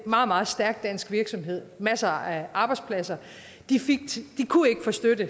meget meget stærk dansk virksomhed masser af arbejdspladser de kunne ikke få støtte